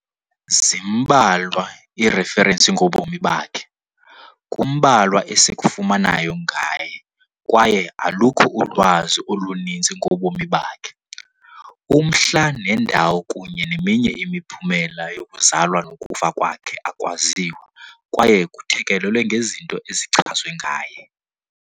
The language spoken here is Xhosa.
Zimbalwa iirefrensi ngobomi bakhe, kumbalwa esikufumanayo ngaye kwaye alukho ulwazi oluninzi ngobomi bakhe. Umhla nendawo kunye neminye imiphumela yokuzalwa nokufa kwakhe akwaziwa kwaye kuthekelelwe ngezinto ezichazwe ngaye.